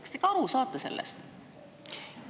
Kas te ikka aru saate sellest?